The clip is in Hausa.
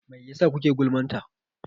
Mai yasa kuke gulman ta?